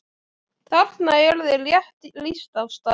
Þarna er þér rétt lýst Ásta!